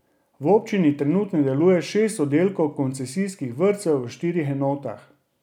V občini trenutno deluje šest oddelkov koncesijskih vrtcev v štirih enotah.